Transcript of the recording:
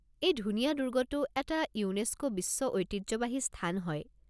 এই ধুনীয়া দুৰ্গটো এটা ইউনেস্কো বিশ্ব ঐতিহ্যবাহী স্থান হয়।